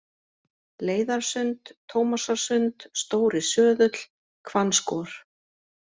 Leiðarsund, Tómasarsund, Stóri-Söðull, Hvannskor